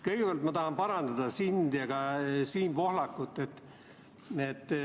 Kõigepealt tahan parandada sind ja ka Siim Pohlakut.